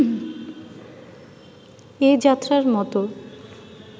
এ-যাত্রার মতো